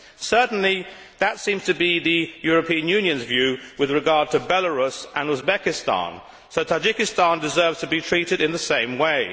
Certainly, that seems to be the European Union's view with regard to Belarus and Uzbekistan, so Tajikistan deserves to be treated in the same way.